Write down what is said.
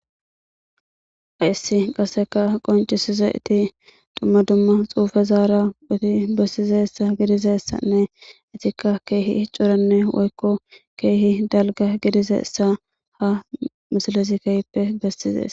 Hayssi qaseka qoncisizayti dumma dumma xuufezaara oothi bessizayssa gidizayssanne itikka keehi coranne woykko keehi dalga gidizeessa ha misilezi keehippe bessizees.